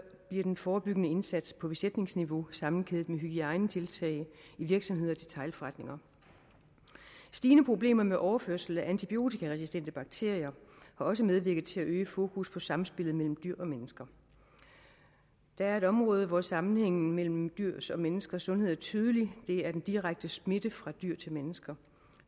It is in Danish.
bliver den forebyggende indsats på besætningsniveau sammenkædet med nogle hygiejnetiltag i virksomheder og detailforretninger stigende problemer med overførsel af antibiotikaresistente bakterier har også medvirket til at øge fokus på samspillet mellem dyr og mennesker der er et område hvor sammenhængen mellem dyrs og menneskers sundhed er tydelig det er den direkte smitte fra dyr til mennesker